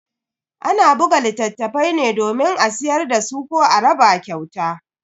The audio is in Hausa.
Ana buga littafai ne domin a siyar dasu ko a raba kyauta.